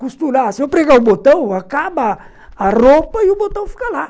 Costurar, se eu pregar o botão, acaba a roupa e o botão fica lá.